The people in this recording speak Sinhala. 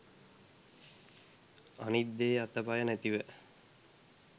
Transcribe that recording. අනිත් දේ අත පය නැතිව